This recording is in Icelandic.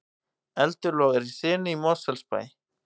Eldur logar í sinu í Mosfellsbæ